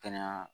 Kɛnɛya